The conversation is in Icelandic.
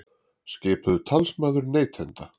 Skipuð talsmaður neytenda